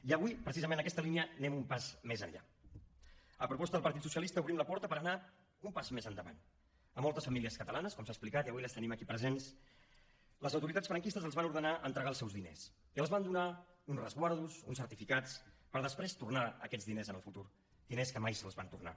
i avui precisament en aquesta línia anem un pas més enllà a proposta del partit socialista obrim la porta per anar un pas més endavant a moltes famílies catalanes com s’ha explicat i avui les tenim aquí presents les autoritats franquistes els van ordenar entregar els seus diners i els van donar uns resguards uns certificats per després tornar aquests diners en el futur diners que mai els van tornar